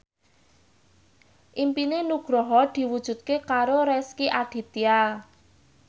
impine Nugroho diwujudke karo Rezky Aditya